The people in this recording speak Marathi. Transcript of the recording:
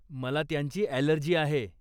मला त्यांची अॅलर्जी आहे.